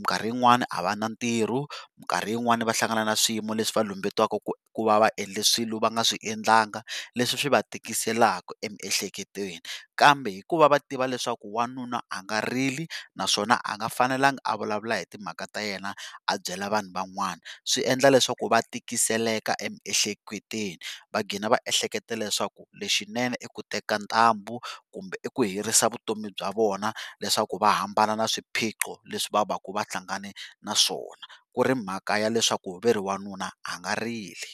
mikarhi yin'wana a va na ntirho, mikarhi yin'wana va hlangana na swiyimo leswi va lumbetiwaka ku ku va va endle swilo va nga swi endlanga leswi swi va tikiselaka emiehleketweni kambe hikuva va tiva leswaku wanuna a nga rili naswona a nga fanelanga a vulavula hi timhaka ta yena a byela vanhu van'wana swi endla leswaku va tikiseleka emiehleketweni va gqina va eheleketa leswaku lexinene i ku teka ntambu kumbe i ku herisa vutomi bya vona leswaku va hambana na swiphiqo leswi va va ka va hlangane na swona ku ri mhaka ya leswaku va ri wanuna a nga rili.